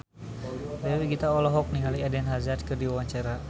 Dewi Gita olohok ningali Eden Hazard keur diwawancara